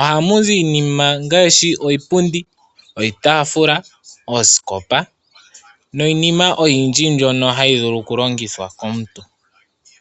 Ohamuzi iinima ngaashi iipundi, iitaafula, oosikopa niinima oyindji mbyono hayi vulu oku longithwa komuntu.